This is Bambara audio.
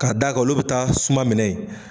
K'a daa ka olu bɛ taa suma minɛ ye.